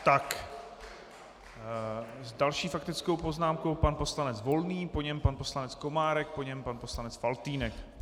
Tak s další faktickou poznámkou pan poslanec Volný, po něm pan poslanec Komárek, po něm pan poslanec Faltýnek.